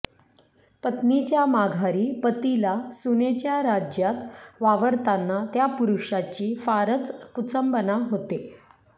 पत्नीच्या माघारी पतीला सुनेच्या राज्यात वावरताना त्या पुरुषाची फारच कुचंबणा होते